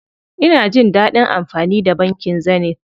Ina jin dadin amfani da bankin Zenith.